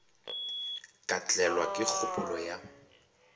ka tlelwa ke kgopolo ya